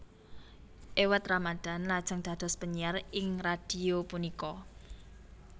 Iwet Ramadhan lajeng dados penyiar ing radhio punika